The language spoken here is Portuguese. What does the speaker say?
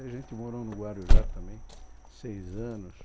A gente morou no Guarujá também, seis anos.